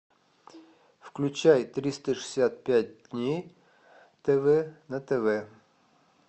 включай триста шестьдесят пять дней тв на тв